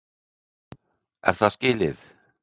Er það skilið?